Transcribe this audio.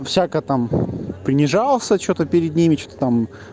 всяко там понижался что-то перед ними что-то там